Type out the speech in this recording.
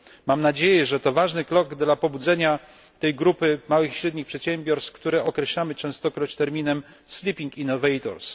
Mam nadzieję, że to ważny krok dla pobudzenia tej grupy małych i średnich przedsiębiorstw, które określamy częstokroć terminem sleeping innovators